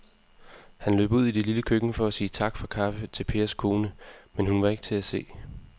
Han løb ud i det lille køkken for at sige tak for kaffe til Pers kone, men hun var ikke til at se.